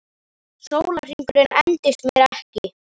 Sólarhringurinn endist mér ekki.